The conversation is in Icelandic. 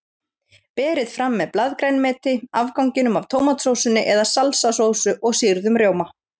Berið fram með blaðgrænmeti, afganginum af tómatsósunni eða salsasósu og sýrðum rjóma.